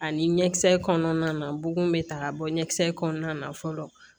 Ani ɲɛkisɛ kɔnɔna na bugun bɛ ta ka bɔ ɲɛkisɛ kɔnɔna na fɔlɔ